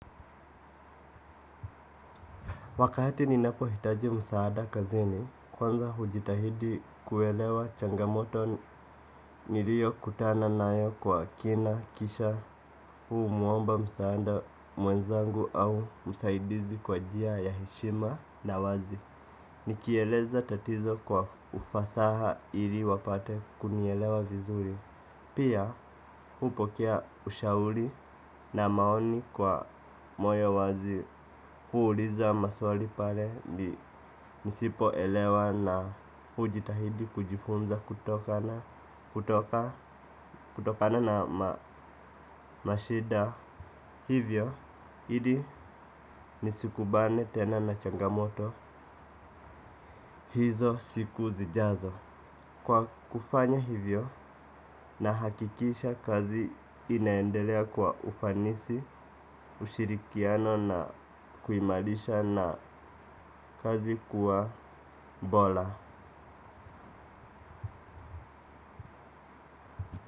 Wakati ninapohitaji msaada kazini, kwanza hujitahidi kuelewa changamoto nilio kutana nayo kwa kina kisha huu muomba msaada mwenzangu au msaidizi kwa jia ya heshima na wazi. Nikieleza tatizo kwa ufasaha ili wapate kunielewa vizuri. Pia upokea ushauri na maoni kwa moyo wazi huuliza maswali pale ni nisipoelewa na ujitahidi kujifunza kutokana na mashida. Hivyo hidi nisikubane tena na changamoto hizo siku zijazo. Kwa kufanya hivyo nahakikisha kazi inaendelea kwa ufanisi, ushirikiano na kuimalisha na kazi kuwa bola.